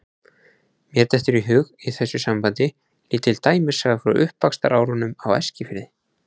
Mér dettur í hug í þessu sambandi lítil dæmisaga frá uppvaxtarárunum á Eskifirði.